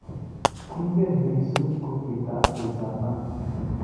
Kiingen Lissu kochitab ujamaa